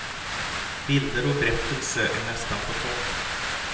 Bilder och berättelse är nästan på topp.